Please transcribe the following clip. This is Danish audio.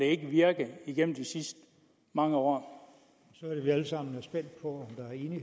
ikke virket igennem de sidste mange år år